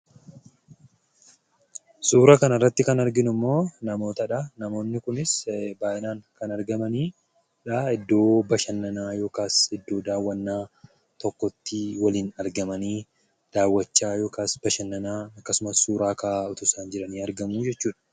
Suura kana irratti kan arginu immoo namootadha. Namoonni kunis baayyinaan kan argaman iddoo bashannanaa yookaas iddoo daawwannaa tokkotti waliin argamanii daawwachaa yookaan bashannanaa, akkasumas suuraa ka'aa osoo isaan jiran argamuu jechuudha.